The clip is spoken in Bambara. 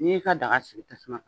N'i y'i ka daga sigi tasuma